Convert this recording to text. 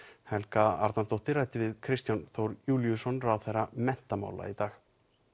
Helga Arnardóttir ræddi við Kristján Þór Júlíusson ráðherra menntamála í dag